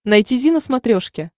найти зи на смотрешке